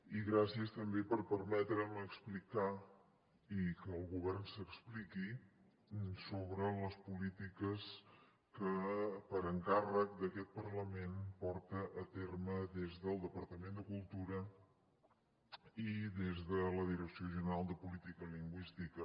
i gràcies també per permetre’m explicar i que el govern s’expliqui sobre les polítiques que per encàrrec d’aquest parlament porta a terme des del departament de cultura i des de la direcció general de política lingüística